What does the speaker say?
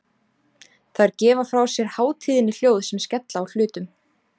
Þær gefa frá sér hátíðnihljóð sem skella á hlutum.